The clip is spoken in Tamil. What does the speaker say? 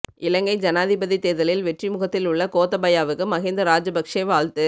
இலங்கை ஜனாதிபதி தேர்தலில் வெற்றிமுகத்தில் உள்ள கோத்தபயாவுக்கு மஹிந்த ராஜபக்சே வாழ்த்து